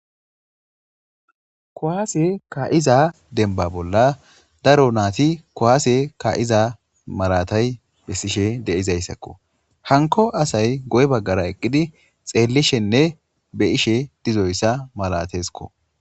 Kuwase kaa7iza dembba bolla daronnati kuwase kaa7iza malaatay bessishe de7izayssako. Hankko asay guye baggara eqqidi xeellishenne be7ishe dizoyssa maleteeskko.